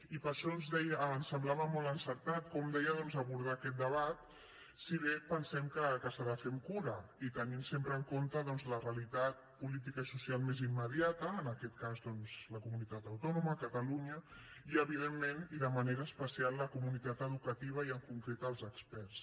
i per això ens semblava molt encertat com deia doncs abordar aquest debat si bé pensem que s’ha de fer amb cura i tenint sempre en compte doncs la realitat política i social més immediata en aquest cas la comunitat autònoma catalunya i evidentment i de manera especial la comunitat educativa i en concret els experts